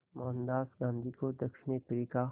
मोहनदास गांधी को दक्षिण अफ्रीका